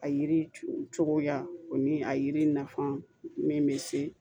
A yiri cogoya o ni a yiri nafan min bɛ se